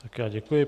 Tak já děkuji.